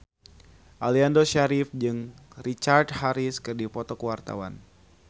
Aliando Syarif jeung Richard Harris keur dipoto ku wartawan